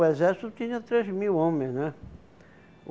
O exército tinha três mil homens, né?